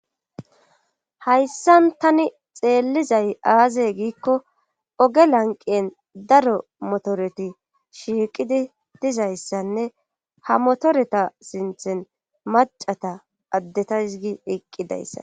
Hayssan tani xeellizay aazey giikko oge lanqen daro motoreti shiiqidi dizayssanne ha motoreta sinthen macata addetaysgi iqqidayssa